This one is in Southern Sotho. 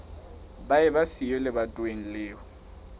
ba eba siyo lebatoweng leo